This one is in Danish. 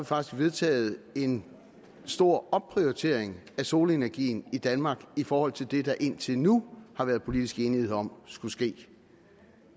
faktisk vedtaget en stor opprioritering af solenergien i danmark i forhold til det der indtil nu har været politisk enighed om skulle ske